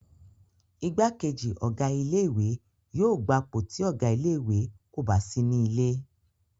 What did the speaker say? Igbákejì Ọ̀gá ilé ìwé yóò gbapò tí Ọ̀gá ilé ìwé kò bá sí nílé